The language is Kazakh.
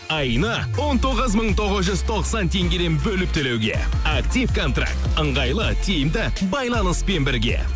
айына он тоғыз мың тоғыз жүз тоқсан теңгеден бөліп төлеуге актив контракт ыңғайлы тиімді байланыспен бірге